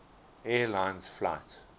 air lines flight